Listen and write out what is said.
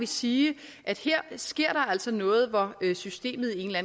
sige at her sker altså noget hvor systemet i en eller